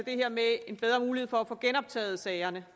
her med en bedre mulighed for at få genoptaget sagerne